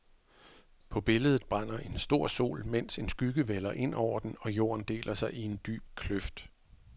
På billedet brænder en stor sol, mens en skygge vælder ind over den og jorden deler sig i en dyb kløft.